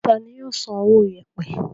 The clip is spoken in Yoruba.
Tani yóò san owó yèèpẹ̀?